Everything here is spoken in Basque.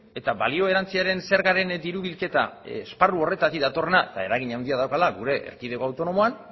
eta balio erantsiaren zergaren diru bilketa esparru horretatik datorrena eta eragin handia daukala gure erkidego autonomoan